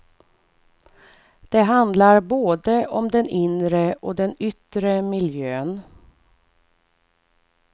Det handlar både om den inre och den yttre miljön.